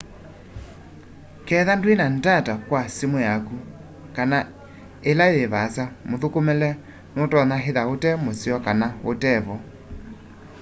kethwa ndwina ndata kwa simu yaku kana ila yi vaasa muthukumile nutonya ithwa ute museo kana utevo